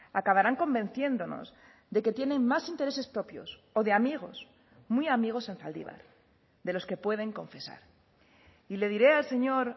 acabarán convenciéndonos de que tienen más intereses propios o de amigos muy amigos en zaldibar de los que pueden confesar y le diré al señor